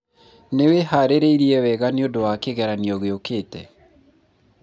nĩwĩharĩrĩirie wega nĩũndũ wa kĩgeranio gĩũkĩte?